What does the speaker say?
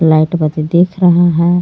Light बत्ती दिख रहा हे.